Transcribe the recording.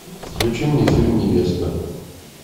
включи мне фильм невеста